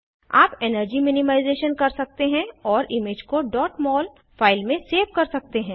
आप energy minimisation कर सकते हैं और इमेज को डॉट मोल फाइल में सेव कर सकते हैं